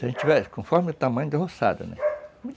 Se a gente tiver, conforme o tamanho da roçado, né?